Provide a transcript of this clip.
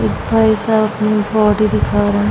एक भाईसाहब अपनी बॉडी दिखा रहा है।